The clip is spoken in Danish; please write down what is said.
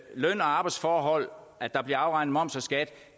løn og arbejdsforhold og at der bliver afregnet moms og skat